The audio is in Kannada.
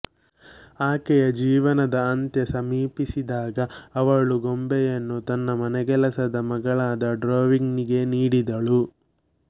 ಆಕೆಯ ಜೀವನದ ಅಂತ್ಯ ಸಮೀಪಿಸಿದಾಗ ಅವಳು ಗೊಂಬೆಯನ್ನು ತನ್ನ ಮನೆಗೆಲಸದ ಮಗಳಾದ ಡ್ರೊವ್ನಿಗೆ ನೀಡಿದಳು